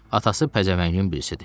Atası pəzəvəngin birisidir.